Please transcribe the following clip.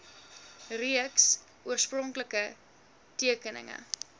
reeks oorspronklike tekeninge